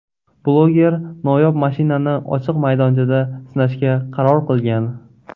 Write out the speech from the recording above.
Bloger noyob mashinani ochiq maydonchada sinashga qaror qilgan.